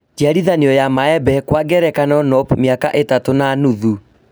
Njiarithanio ya maembe, Kwa ngerekano nope miaka ĩtatũ na nuthu